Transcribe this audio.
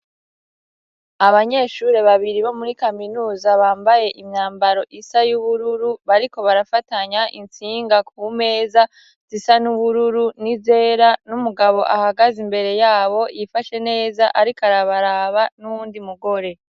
Abanyeshuri babiri bo muri kaminuza bambaye imyambaro isa y'ubururu, bariko barafatanya intsinga kumeza zisa n'ubururu n'izera, n'umugabo ahagaze imbere yabo yifashe neza ariko arabaraba n'uwundi mugore.